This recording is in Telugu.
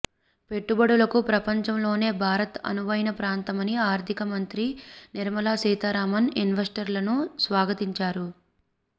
పెట్టుబడులకు ప్రపంచంలోనే భారత్ అనువైన ప్రాంతమని ఆర్థిక మంత్రి నిర్మలా సీతారామన్ ఇన్వెస్టర్లను స్వాగతించారు